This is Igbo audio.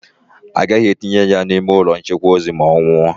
Agaghị etinye ya n'ime ụlọ nchekwa ozu ma ọ nwụọ.